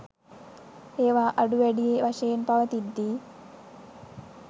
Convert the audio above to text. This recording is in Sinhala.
ඒවා අඩු වැඩි වශයෙන් පවතිද්දී